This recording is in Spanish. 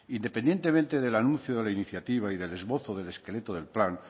independientemente del anuncio de la iniciativa y del esbozo del esqueleto del plan